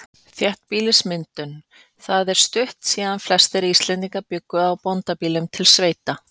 Þéttbýlismyndun Það er stutt síðan flestir Íslendingar bjuggu á bóndabýlum, til sveita.